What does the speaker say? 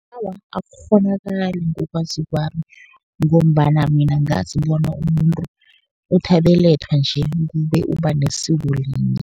Awa, akukghonakali ngokwazi kwami, ngombana mina ngazi bona umuntu uthi abelethwa nje kube uba nesiko linye.